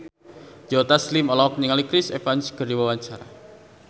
Joe Taslim olohok ningali Chris Evans keur diwawancara